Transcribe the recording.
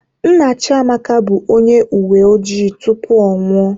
Nna Chiamaka bụ onye uwe ojii tupu ọ anwụọ